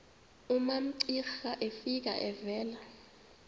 umamcira efika evela